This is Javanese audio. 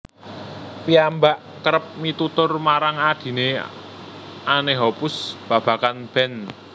Piyambak kérép mitutur marang adhine Anne Hoppus babagan band